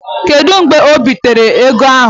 Kedu mgbe ebinyere ego ahụ?